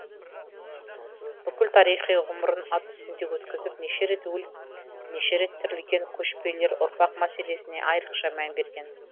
бүкіл тарихи ғұмырын ат үстінде өткізіп неше рет өліп неше рет тірілген көшпелілер ұрпақ мәселесіне айырықша мән берген